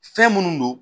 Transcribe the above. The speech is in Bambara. Fɛn minnu don